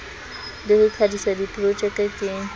le ho qadisa diprojeke ke